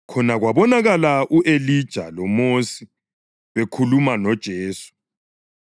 Khonapho kwabonakala u-Elija loMosi bekhuluma loJesu.